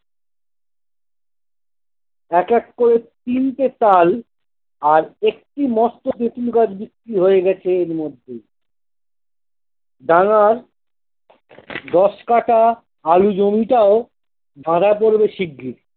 এক এক করে তিনটে তাল আর একটি মস্ত তেঁতুল গাছ বিক্রি হয়ে গেছে এর মধ্যেই ডাঙার দশ কাটা আলু জমিটাও ভাড়া পড়বে শিগ্রি।